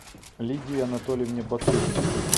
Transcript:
лидии анатольевне батуриной